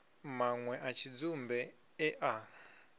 manwe a tshidzumbe e a